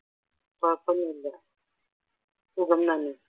കുഴപ്പമൊന്നുമില്ല സുഖം തന്നെ